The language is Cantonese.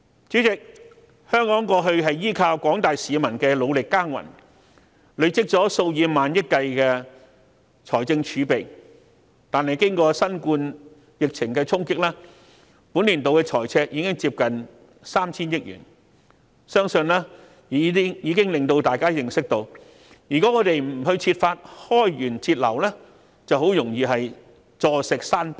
主席，香港過去依靠廣大市民努力耕耘，累積了數以萬億計的財政儲備，但經過新冠肺炎疫情的衝擊，本年度財政赤字已接近 3,000 億元，我相信已能讓大家知悉，如果我們不設法開源節流，便很容易"坐食山崩"。